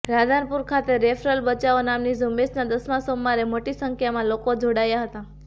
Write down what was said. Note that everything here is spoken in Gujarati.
રાધનપુર ખાતે રેફરલ બચાવો નામની ઝુંબેશના દસમાં સોમવારે મોટી સંખ્યામાં લોકો જોડાયા હતા